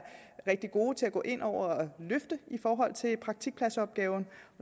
rigtig gode til at gå ind og løfte i forhold til praktikpladsopgaven